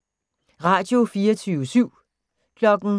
Radio24syv